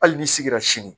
Hali n'i sigira sini